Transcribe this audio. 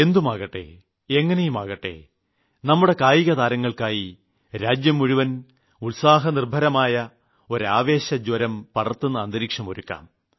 എന്തുമാകട്ടെ എങ്ങിനെയുമാകട്ടെ നമ്മുടെ കായികതാരങ്ങൾക്കുവേണ്ടി രാജ്യം മുഴുവനും ഉത്സാഹനിർഭരമായ ഒരു ആവേശജ്വരം പടർത്തുന്ന അന്തരീക്ഷം ഒരുക്കാം